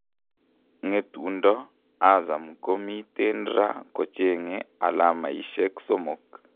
Ngetundo ,Azam ngo miten raa kochenge alamaishek somok.